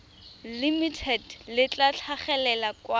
limited le tla tlhagelela kwa